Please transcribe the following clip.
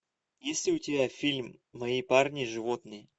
есть ли у тебя фильм мои парни животные